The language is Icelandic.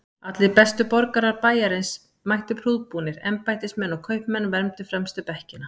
Allir bestu borgarar bæjarins mættu prúðbúnir, embættismenn og kaupmenn vermdu fremstu bekkina.